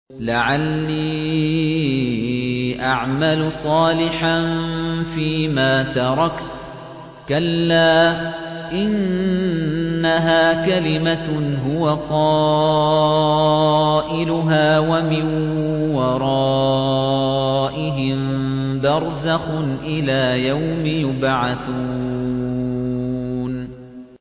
لَعَلِّي أَعْمَلُ صَالِحًا فِيمَا تَرَكْتُ ۚ كَلَّا ۚ إِنَّهَا كَلِمَةٌ هُوَ قَائِلُهَا ۖ وَمِن وَرَائِهِم بَرْزَخٌ إِلَىٰ يَوْمِ يُبْعَثُونَ